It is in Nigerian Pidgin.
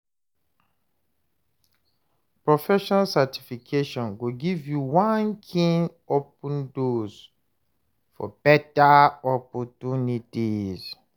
Professional certification go give you one kyn open doors for beta opportunities.